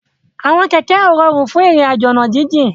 Àwọn kẹ̀kẹ́ ó ròrún fún irin àjó ọ̀nà jijin